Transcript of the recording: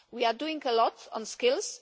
We are doing a lot on skills.